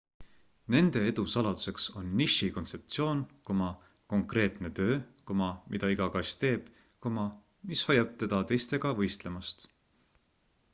nende edu saladuseks on niši kontseptsioon konkreetne töö mida iga kass teeb mis hoiab teda teistega võistlemast